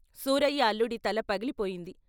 సూరయ్య అల్లుడి తల పగిలి పోయింది.